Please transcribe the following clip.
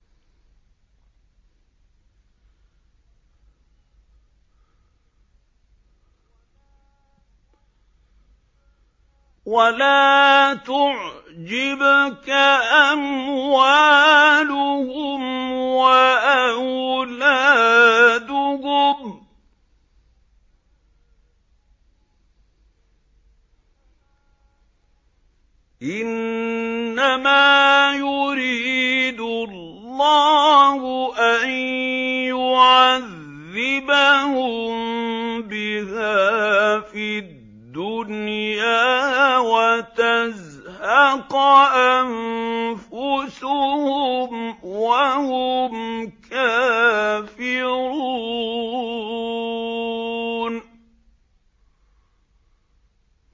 وَلَا تُعْجِبْكَ أَمْوَالُهُمْ وَأَوْلَادُهُمْ ۚ إِنَّمَا يُرِيدُ اللَّهُ أَن يُعَذِّبَهُم بِهَا فِي الدُّنْيَا وَتَزْهَقَ أَنفُسُهُمْ وَهُمْ كَافِرُونَ